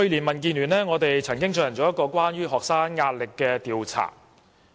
民建聯去年曾經進行一項關於學生壓力的調查。